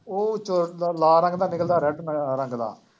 ਉਹ ਚੋਂ ਲਾਲ ਰੰਗ ਦਾ ਨਿਕਲਦਾ red ਅਹ ਰੰਗ ਦਾ